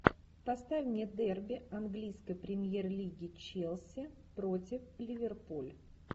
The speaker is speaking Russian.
поставь мне дерби английской премьер лиги челси против ливерпуль